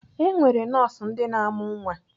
E nwere nọọsụ ndị na-amụ nwa.